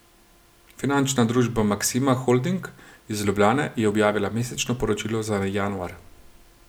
Finančna družba Maksima holding iz Ljubljane je objavila mesečno poročilo za januar.